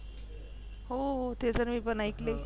हो हो ते तर मी पण ऐकले.